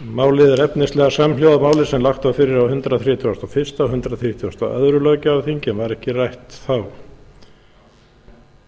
málið er efnislega samhljóða máli sem lagt var fyrir á hundrað þrítugasta og fyrsta og hundrað þrítugasta og öðrum löggjafarþingi en var ekki rætt þá